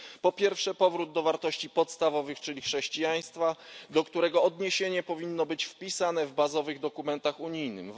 Po pierwsze, powrót do wartości podstawowych, czyli chrześcijaństwa, do którego odniesienie powinno być wpisane w bazowych dokumentach unijnych.